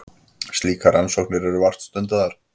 Slíkar rannsóknir eru vart stundaðar.